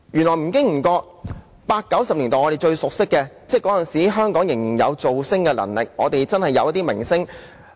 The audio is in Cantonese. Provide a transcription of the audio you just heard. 在八九十年代，我們有最熟悉的明星，當時香港仍有"造星"的能力，我們真的有一些明星。